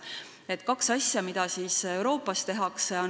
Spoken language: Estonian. Toon välja kaks asja, mida Euroopas tehakse.